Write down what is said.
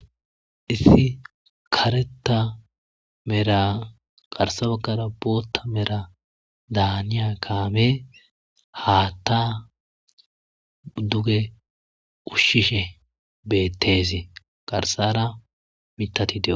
Issi kareta mera qarsabakara bootta mera daniya kaame haattaa duge ushshishe beettezi garsara mitati deo